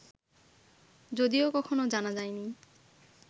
যদিও কখনও জানা যায়নি